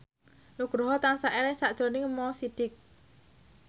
Nugroho tansah eling sakjroning Mo Sidik